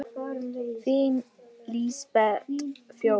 Þín Lísbet Fjóla.